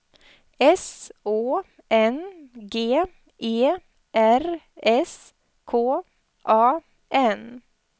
S Å N G E R S K A N